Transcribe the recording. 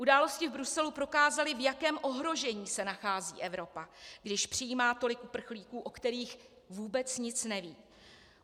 Události v Bruselu prokázaly, v jakém ohrožení se nachází Evropa, když přijímá tolik uprchlíků, o kterých vůbec nic neví.